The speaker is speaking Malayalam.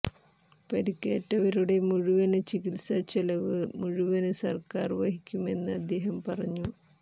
പരിക്കേറ്റവരുടെ മുഴുവന് ചികിത്സാ ചിലവ് മുഴുവന് സര്ക്കാര് വഹിക്കുമെന്ന് അദ്ദേഹം പറഞ്ഞു